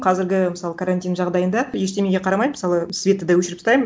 қазіргі мысалы карантин жағдайында ештемеге қарамай мысалы светті да өшіріп тастаймын